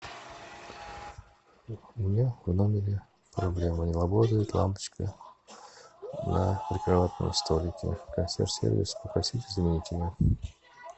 у меня в номере проблема не работает лампочка на прикроватном столике консьерж сервис попросите заменить ее